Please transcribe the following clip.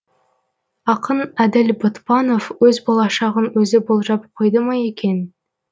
ақын әділ ботпанов өз болашағын өзі болжап қойды ма екен